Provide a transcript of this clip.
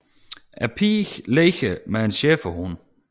En pige leger med en schæferhund